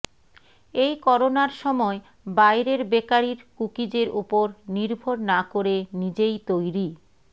এই করোনার সময় বাইরের বেকারির কুকিজের ওপর নির্ভর না করে নিজেই তৈরি